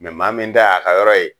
Mɛ maa min ta y'a ka yɔrɔ ye